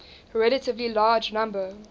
relatively large number